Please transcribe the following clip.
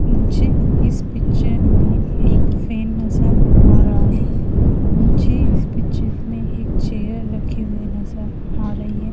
मुझे इस पिक्चर में एक फ्रेम नजर आ रहा हैं मुझे इस पिक्चर में एक चेयर रखी हुए नजर आ रही है।